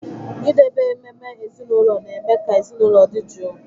Idebe ememe ezinụlọ na-eme ka ezinụlọ dị jụụ